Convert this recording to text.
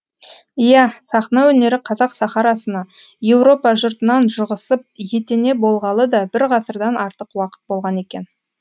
иә сахна өнері қазақ сахарасына еуропа жұртынан жұғысып етене болғалы да бір ғасырдан артық уақыт болған екен